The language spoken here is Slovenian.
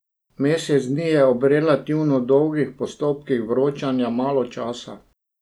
Mesec dni je ob relativno dolgih postopkih vročanja malo časa.